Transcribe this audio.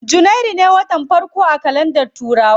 Janairu ne watan farko a kalandar turawa.